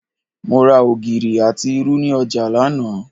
Mo ra ògìrì àti irú ni ọjà lánàá